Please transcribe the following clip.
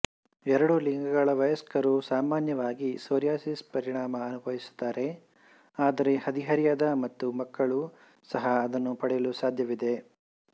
ಎರಡೂ ಲಿಂಗಗಳ ವಯಸ್ಕರು ಸಾಮಾನ್ಯವಾಗಿ ಸೋರಿಯಾಸಿಸ್ ಪರಿಣಾಮ ಅನುಭವಿಸುತ್ತಾರೆ ಆದರೆ ಹದಿಹರೆಯದ ಮತ್ತು ಮಕ್ಕಳು ಸಹ ಅದನ್ನು ಪಡೆಯಲು ಸಾಧ್ಯವಿದೆ